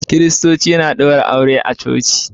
Kiristoci na daura aure a coci